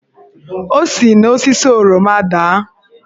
O si n'osisi oroma daa.